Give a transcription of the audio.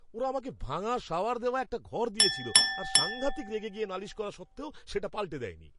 ওরা আমাকে ভাঙা শাওয়ার দেওয়া একটা ঘর দিয়েছিল আর সাংঘাতিক রেগে গিয়ে নালিশ করা সত্ত্বেও সেটা পাল্টে দেয়নি।